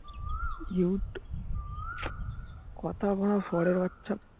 jute কথা বারা সুয়ারের বাচ্ছা